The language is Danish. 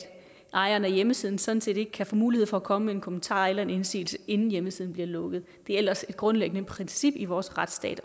ejeren af hjemmesiden sådan set ikke kan få mulighed for at komme med en kommentar eller indsigelse inden hjemmesiden bliver lukket det er ellers et grundlæggende princip i vores retsstat